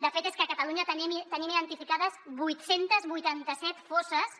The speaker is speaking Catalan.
de fet és que a catalunya tenim identificades vuit cents i vuitanta set fosses